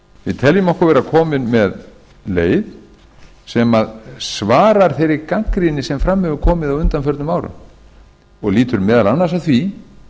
við teljum okkur vera komin með leið sem svarar þeirri gagnrýni sem fram hefur komið á undanförnum árum og lýtur meðal annars að því